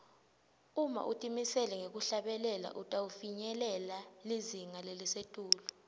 uma utimisele ngekuhlabela utawufinyelela lizinga lelisetulu